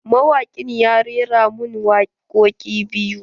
Mawaƙin ya rera min wakoƙi biyu.